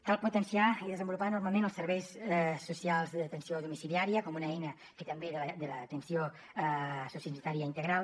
cal potenciar i desenvolupar normalment els serveis socials d’atenció domiciliària com una eina també de l’atenció sociosanitària integral